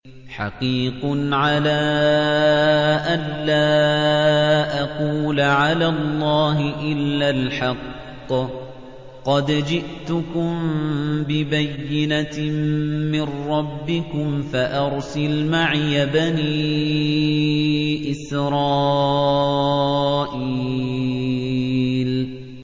حَقِيقٌ عَلَىٰ أَن لَّا أَقُولَ عَلَى اللَّهِ إِلَّا الْحَقَّ ۚ قَدْ جِئْتُكُم بِبَيِّنَةٍ مِّن رَّبِّكُمْ فَأَرْسِلْ مَعِيَ بَنِي إِسْرَائِيلَ